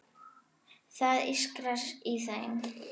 Það ískrar í þeim.